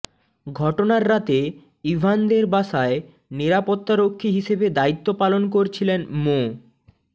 ঘটনার রাতে ইভানদের বাসায় নিরাপত্তারক্ষী হিসেবে দায়িত্ব পালন করছিলেন মো